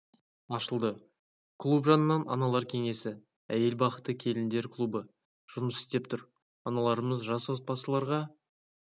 ашылды клуб жанынан аналар кеңесі әйел бақыты келіндер клубы жұмыс істеп тұр аналарымыз жас отбасыларға